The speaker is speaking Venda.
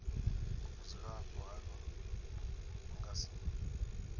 vhudzulapo hanu vhu nga si